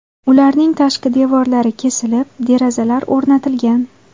Ularning tashqi devorlari kesilib, derazalar o‘rnatilgan.